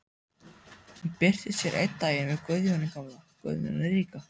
Hún birtist hér einn daginn með Guðjóni gamla, Guðjóni ríka.